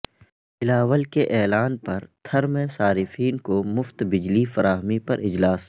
بلاول کے اعلان پر تھرمیں صارفین کومفت بجلی فراہمی پر اجلاس